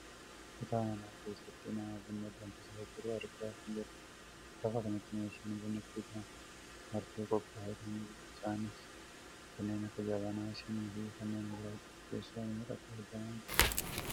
Kutaa manaa keessatti nama buna danfisaa jiru argaa kan jirrudha. Lafa kanatti meeshaan bunni ittiin danfu martuu qophaa'ee kan jirudha. Isaanis kanneen jabanaa, sinii fi kanneen biroodha. Teesoo meeqatu argamaa jira?